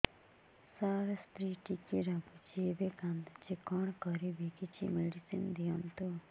ସାର ସ୍ତ୍ରୀ ଟିକେ ରାଗୁଛି ଏବଂ କାନ୍ଦୁଛି କଣ କରିବି କିଛି ମେଡିସିନ ଦିଅନ୍ତୁ